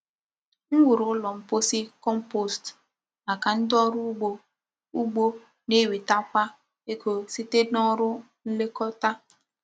M wuru ụlọ mposi compost maka ndị ọrụ ugbo ugbo na-enwetakwa ego site na ọrụ nlekọta.